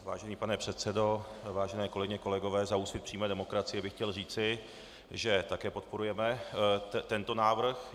Vážený pane předsedo, vážené kolegyně, kolegové, za Úsvit přímé demokracie bych chtěl říci, že také podporujeme tento návrh.